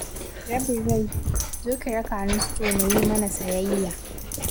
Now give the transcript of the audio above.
Rabin rai, zo ki raka ni store na yi mana sayayya.